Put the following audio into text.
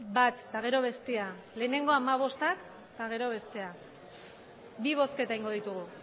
bat eta gero bestea lehenengo hamabostak eta gero bestea bi bozketa egingo ditugu